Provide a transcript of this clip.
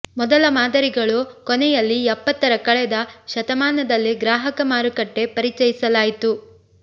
ಮೊದಲ ಮಾದರಿಗಳು ಕೊನೆಯಲ್ಲಿ ಎಪ್ಪತ್ತರ ಕಳೆದ ಶತಮಾನದಲ್ಲಿ ಗ್ರಾಹಕ ಮಾರುಕಟ್ಟೆ ಪರಿಚಯಿಸಲಾಯಿತು